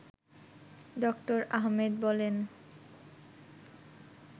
ড: আহমেদ বলেন